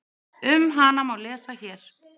Um hana má lesa hér.